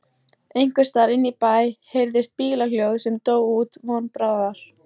Einhversstaðar inní bæ heyrðist bílhljóð sem dó út von bráðar.